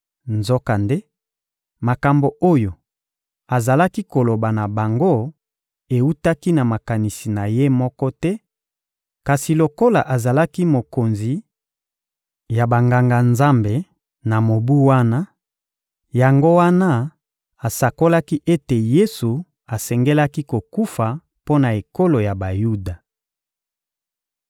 Nzokande, makambo oyo azalaki koloba na bango ewutaki na makanisi na ye moko te; kasi lokola azalaki mokonzi ya Banganga-Nzambe na mobu wana, yango wana asakolaki ete Yesu asengelaki kokufa mpo na ekolo ya Bayuda.